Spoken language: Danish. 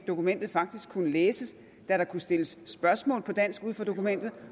dokumentet faktisk kunne læses da der kunne stilles spørgsmål på dansk ud fra dokumentet